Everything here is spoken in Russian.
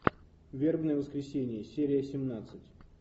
вербное воскресенье серия семнадцать